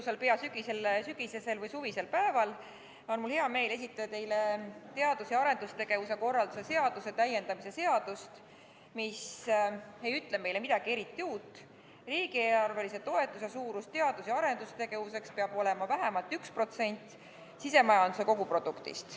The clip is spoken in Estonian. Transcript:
Sellel ilusal sügisesel või peaaegu suvisel päeval on mul hea meel esitada teile teadus- ja arendustegevuse korralduse seaduse täiendamise seadust, mis ei ütle meile eriti midagi uut: riigieelarvelise toetuse suurus teadus- ja arendustegevuseks peab olema vähemalt 1% sisemajanduse kogutoodangust.